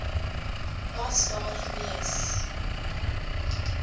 was daar gewees